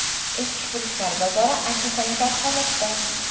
Eskifurushlar bozori antisanitar holatda.